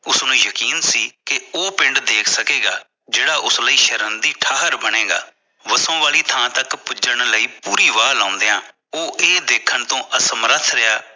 ਉਸ ਨੂੰ ਯਕੀਨ ਸੀ ਕਿ ਉਹ ਪਿੰਡ ਦੇਖ ਸਕੇਗਾ ਜਿਹੜਾ ਉਸਲੀ ਸ਼ਰਮ ਦੀ ਠਾਹਰ ਬਣੇਗਾ ਵੱਸੋ ਵਾਲੀ ਥਾਂ ਤੱਕ ਪੁੱਜਣ ਲਈ ਪੁਰੀ ਵਾਹ ਲਾਉਂਦਿਆਂ ਉਹ ਇਹ ਦੇਖਣ ਤੋਂ ਅਸਮਰਥ ਰਿਹਾ